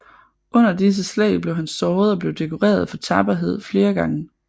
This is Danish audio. Under disse slag blev han såret og blev dekoreret for tapperhed flere gange